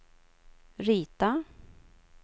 rita